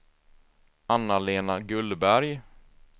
Anna-Lena Gullberg